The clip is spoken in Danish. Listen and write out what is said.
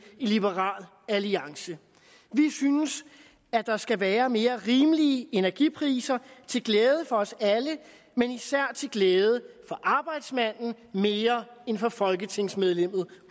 i liberal alliance vi synes at der skal være mere rimelige energipriser til glæde for os alle men især til glæde for arbejdsmanden mere end for folketingsmedlemmet